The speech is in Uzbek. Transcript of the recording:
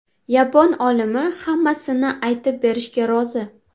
Yapon olimi hammasini aytib berishga rozi.